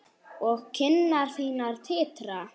Og kinnar þínar titra.